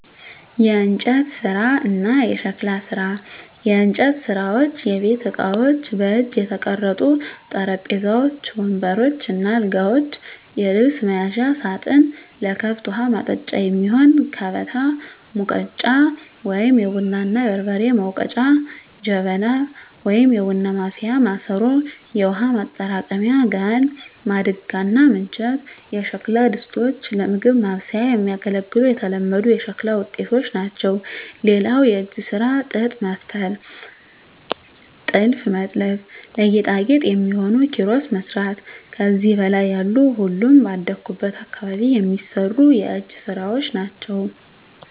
**የእንጨት ስራ እና የሸክላ ስራ፦ *የእንጨት ስራዎች * የቤት እቃዎች: በእጅ የተቀረጹ ጠረጴዛዎች፣ ወንበሮች እና አልጋዎች፣ የልብስ መያዣ ሳጥን፣ ለከብት ውሀ ማጠጫ የሚሆን ከበታ፣ ሙገጫ(የቡና እና የበርበሬ መውገጫ) ጀበና (የቡና ማፍያ ማሰሮ)፣ የውሃ ማጠራቀሚያ ጋን፣ ማድጋ እና ምንቸት የሸክላ ድስቶች ለምግብ ማብሰያ የሚያገለግሉ የተለመዱ የሸክላ ውጤቶች ናቸው። *ሌላው የእጅ ስራ ጥጥ መፍተል *ጥልፍ መጥለፍ *ለጌጣጌጥ የሚሆኑ ኪሮስ መስራት ከዚህ በላይ ያሉ ሁሉም ባደኩበት አካባቢ የሚሰሩ የእጅ ስራወች ናቸው።